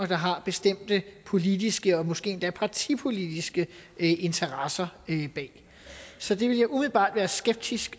der har bestemte politiske og måske endda partipolitiske interesser så det vil jeg umiddelbart være skeptisk